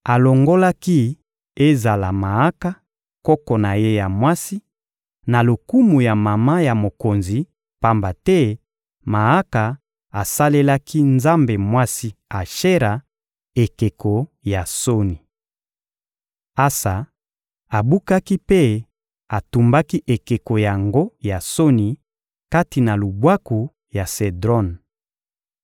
Alongolaki ezala Maaka, koko na ye ya mwasi, na lokumu ya mama ya mokonzi; pamba te Maaka asalelaki nzambe mwasi Ashera ekeko ya soni. Asa abukaki mpe atumbaki ekeko yango ya soni kati na lubwaku ya Sedron.